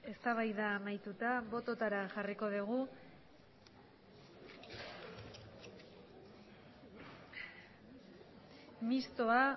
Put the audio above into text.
eztabaida amaituta bototara jarriko dugu mistoa